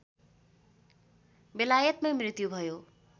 बेलायतमै मृत्यु भयो